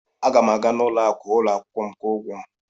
Aga m aga n'ụlọ akụ ụlọ akwụkwọ kwụọ ụgwọ m.